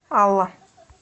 алла